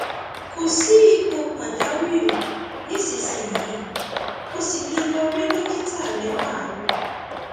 kò sí ipò pàjáwìrì nísinsìnyí o sì lè lọ rí dókítà rẹ láàárọ